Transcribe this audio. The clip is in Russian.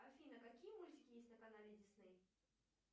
афина какие мультики есть на канале дисней